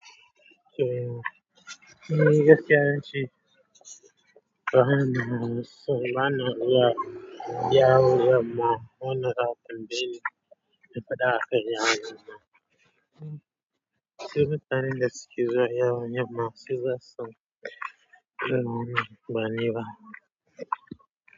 To ni gaskiya ince, wahala mana ya yawo yamma wanda zaa tambaye ni da fada akan yawan Yamma. Saboda su mtanan da suke zuwa yawan yamma su zasu sani irin wannan bani ba.